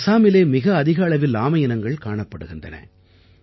அசாமிலே மிக அதிக அளவில் ஆமை இனங்கள் காணப்படுகின்றன